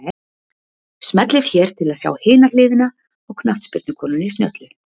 Smellið hér til að sjá hina hliðina á knattspyrnukonunni snjöllu